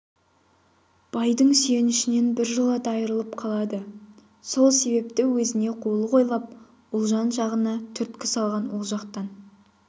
байдың сүйенішінен біржолата айрылып қалады сол себепті өзінше қулық ойлап ұлжан жағына түрткі салған ол жақтан